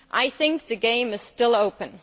I think the game is still open.